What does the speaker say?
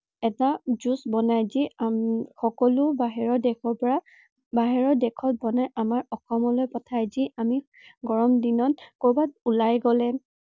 এটা juice বনায় যি উম সকলো বাহিৰৰ দেশৰ পৰা, বাহিৰৰ দেশত বনায় আমাৰ অসমলৈ পঠায়। যি আমি গৰম দিনত কৰবাত ওলাই গলে